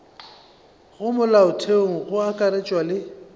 ka molaotheong go akaretšwa le